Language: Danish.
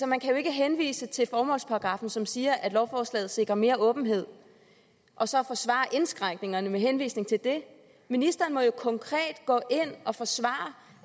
man kan jo ikke henvise til formålsparagraffen som siger at lovforslaget sikrer mere åbenhed og så forsvare indskrænkningerne med henvisning til det ministeren må jo konkret gå ind og forsvare